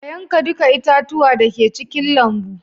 ka yanka duka itatuwa da ke cikin lambu